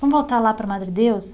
Vamos voltar lá para Madredeus.